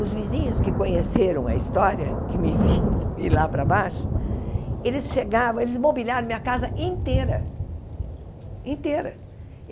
Os vizinhos que conheceram a história, que me viram ir lá para baixo, eles chegavam, eles mobiliaram minha casa inteira, inteira.